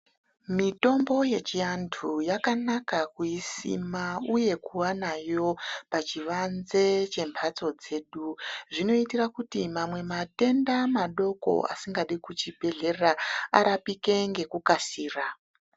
Mitombo yechiantu yakanaka kuisima uye kuva nayo pachivanze chemhatso dzedu zvinoitira kuti mamwe matenda madoko asingade kuchibhehlera arapike ngekukasira.